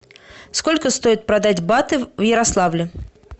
сколько стоит продать баты в ярославле